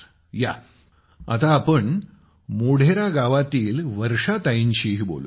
या आता आपण मोढेरा गावातील वर्षा ताईंशीही बोलूया